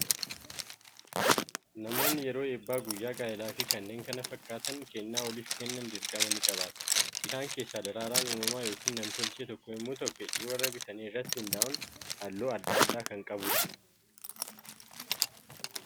Namoonni yeroo eebbaa, guyyaa gaa'elaa fi kanneen kana fakkaatan kennaa waliif kennan dirqama ni qabaatu! Isaan keessaa daraaraan uumamaa yookiin nam-tolchee tokko yommuu ta'u, fedhii warra bitanii irratti hundaa'uun, halluu adda addaa kan qabudha.